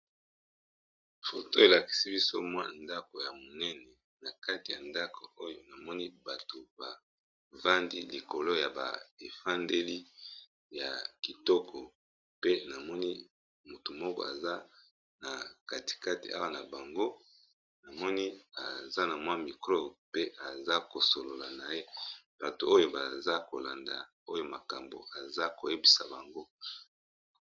Foto elakisi biso mwa ndako ya monene na kati ya ndako oyo namoni bato bavandi likolo ya ba efandeli ya kitoko pe namoni motu moko aza na katikate awa na bango namoni aza na mwa mikro pe aza kosolola na ye bato oyo baza kolanda oyo makambo aza koyebisa bango